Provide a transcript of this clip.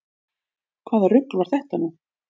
Hvaða rugl var þetta nú?